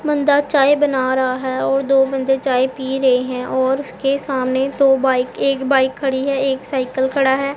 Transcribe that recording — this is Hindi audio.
बंदा चाय बना रहा है और दो बंदे चाय पी रहे हैं और उसके सामने दो बाइक एक बाइक खड़ी है एक साइकल खड़ा है।